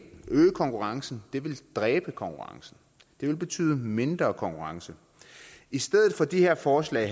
øge konkurrencen det vil dræbe konkurrencen det vil betyde mindre konkurrence i stedet for det her forslag